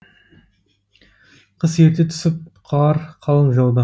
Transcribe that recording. қыс ерте түсіп қар қалың жауды